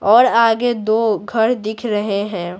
और आगे दो घर दिख रहे हैं।